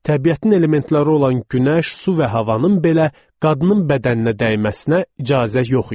Təbiətin elementləri olan günəş, su və havanın belə qadının bədəninə dəyməsinə icazə yox idi.